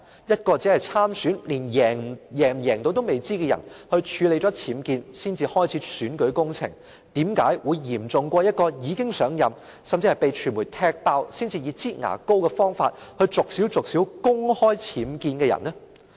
一位只是參選、不知能否勝選的人處理僭建後才開始選舉工程，為甚麼會較一名已經上任、被傳媒揭發事件才以"擠牙膏"的方式公開僭建的人嚴重？